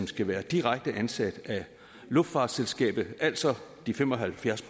skal være direkte ansat af luftfartsselskabet altså de fem og halvfjerds